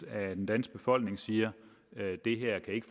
af den danske befolkning siger at det her ikke